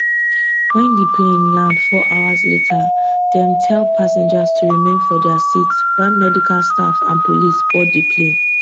wen di plane land four hours later dem tell passengers to remain for dia seats while medical staff and police board di plane